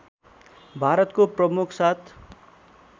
भारतको प्रमुख सात